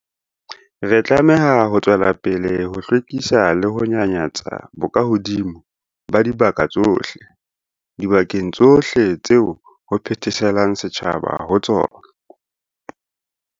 Re tlameha ho tswela pele ho hlwekisa le ho nyanyatsa bokahodimo ba dibaka tsohle, dibakeng tsohle tseo ho phetheselang setjhaba ho tsona.